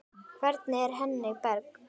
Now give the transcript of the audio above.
Hvernig er Henning Berg?